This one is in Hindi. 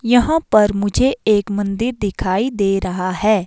यहां पर मुझे एक मंदिर दिखाई दे रहा है।